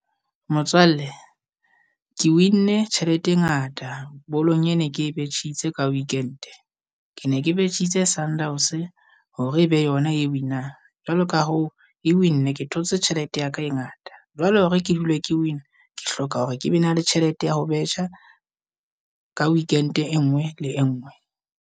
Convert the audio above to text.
Motswalle ke win-ne tjhelete e ngata bolong e ne ke betjhitse ka weekend-e, ke ne ke betjhitse Sundowns hore e be yona e win-ang. Jwalo ka hoo e win-ne ke thotse tjhelete ya ka e ngata, jwalo hore ke dule ke win-a ke hloka hore ke be na le tjhelete ya ho betjha ka Weekend e nngwe le enngwe.